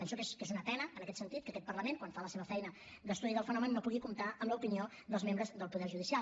penso que és una pena en aquest sentit que aquest parlament quan fa la seva feina d’estudi del fenomen no pugui comptar amb l’opinió dels membres del poder judicial